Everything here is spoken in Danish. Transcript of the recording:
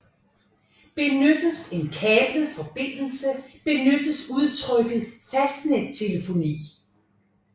Benyttes en kablet forbindelse benyttes udtrykket fastnettelefoni